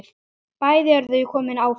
Bæði eru þau komin áfram.